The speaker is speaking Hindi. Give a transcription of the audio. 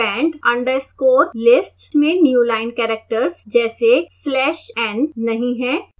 pend_list में newline characters जैसे \n नहीं है